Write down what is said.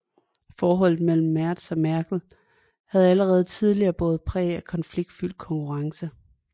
Forholdet mellem Merz og Merkel havde allerede tidligere båret præg af konfliktfyldt konkurrence